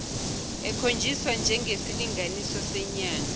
ekhonjiswa njengesilinganiso senyanga